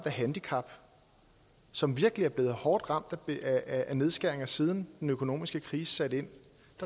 et handicap som virkelig er blevet hårdt ramt af nedskæringerne siden den økonomiske krise satte ind